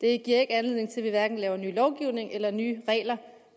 ikke anledning til at vi laver ny lovgivning eller nye regler